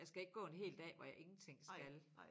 Jeg skal ikke gå en hel dag hvor jeg ingenting skal